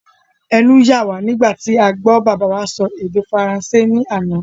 Ẹnu yà wá nígbà tí a gbọ́ bàbá wa sọ èdè faransé ní àná.